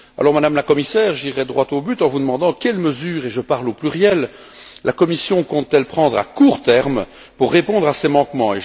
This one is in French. Madame la Commissaire, j'irai donc droit au but en vous demandant quelles mesures et je parle au pluriel la Commission compte prendre à court terme pour répondre à ces manquements.